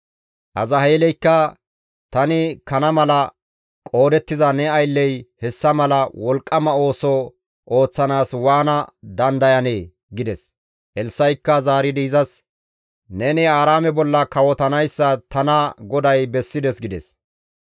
Azaheeleykka, «Tani kana mala qoodettiza ne aylley hessa mala wolqqama ooso ooththanaas waana dandayanee?» gides. Elssa7ikka zaaridi izas, «Neni Aaraame bolla kawotanayssa tana GODAY bessides» gides.